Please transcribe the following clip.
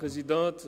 Regierungsrat